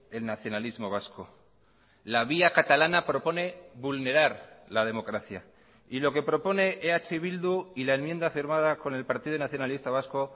el nacionalismo vasco la vía catalana propone vulnerar la democracia y lo que propone eh bildu y la enmienda firmada con el partido nacionalista vasco